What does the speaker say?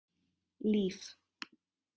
Líf